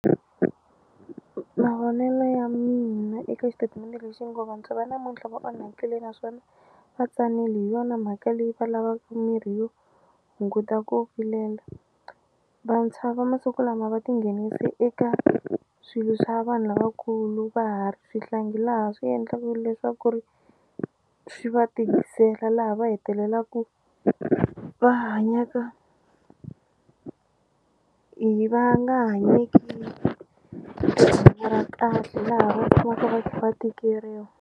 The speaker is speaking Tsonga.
Mavonelo ya mina eka xitatimende lexi ngo vantshwa va namuntlha va onhakile naswona va tsanile hi yona mhaka leyi va lavaka mirhi yo hunguta ku vilela vantshwa va masiku lama va tinghenise eka swilo swa vanhu lavakulu va ha ri swihlangi laha swi endlaku leswaku ri swi va tikisela laha va hetelelaku va hanyaka hi va nga hanyeki ra kahle laha va tshamaka va kha va tikeriwa.